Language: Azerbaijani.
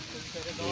Allah kömək olsun.